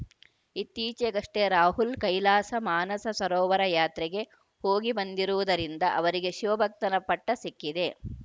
ಇತ್ತೀಚೆಗಷ್ಟೇ ರಾಹುಲ್‌ ಕೈಲಾಸ ಮಾನಸ ಸರೋವರ ಯಾತ್ರೆಗೆ ಹೋಗಿಬಂದಿರುವುದರಿಂದ ಅವರಿಗೆ ಶಿವಭಕ್ತನ ಪಟ್ಟಸಿಕ್ಕಿದೆ